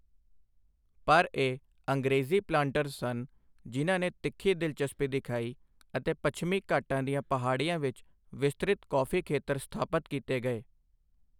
ਪਰ ਇਹ ਅੰਗ੍ਰੇਜ਼ੀ ਪਲਾਂਟਰਜ਼ ਸਨ ਜਿਨ੍ਹਾਂ ਨੇ ਤਿੱਖੀ ਦਿਲਚਸਪੀ ਦਿਖਾਈਅਤੇ ਪੱਛਮੀ ਘਾਟਾਂ ਦੀਆਂ ਪਹਾੜੀਆਂ ਵਿਚ ਵਿਸਤ੍ਰਿਤ ਕੌਫੀ ਖੇਤਰ ਸਥਪਾਤ ਕੀਤੇ ਗਏ।